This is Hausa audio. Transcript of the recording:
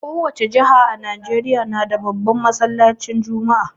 Kowani jiha a Nijeriya nada babban masallacin juma'a